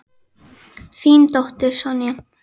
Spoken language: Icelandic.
Þín dóttir, Sonja.